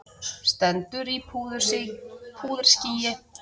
Stendur í púðurskýi.